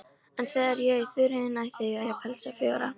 En þegar ég í Þuríði næ þigg ég pelsa fjóra.